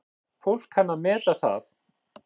Fólk kann að meta það.